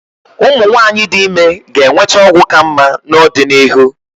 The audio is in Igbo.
Ụmụ nwanyị dị ime ga-enweta ọgwụ ka mma n'ọdịnihu.